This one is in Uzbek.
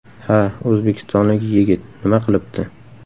Ha, o‘zbekistonlik yigit, nima qilibdi?